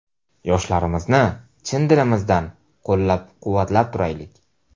Yoshlarimizni chin dilimizdan qo‘llab-quvvatlab turaylik!